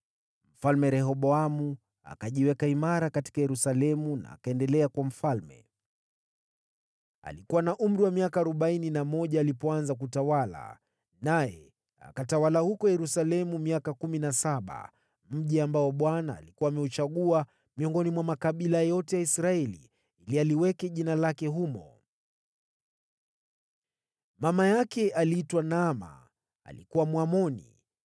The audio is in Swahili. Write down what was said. Mfalme Rehoboamu akajiweka imara katika Yerusalemu na akaendelea kuwa mfalme. Alikuwa na umri wa miaka arobaini na mmoja alipoanza kutawala, naye akatawala huko Yerusalemu miaka kumi na saba, mji ambao Bwana alikuwa ameuchagua miongoni mwa makabila yote ya Israeli ili aliweke Jina lake humo. Mama yake aliitwa Naama, alikuwa Mwamoni.